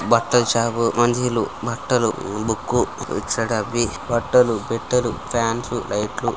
బట్టల షాపు అంగిలు బట్టలు బుక్ ఇటు సైడ్ అవి బట్టలు పెట్టలు ఫ్యాన్స్ లైట్స్ .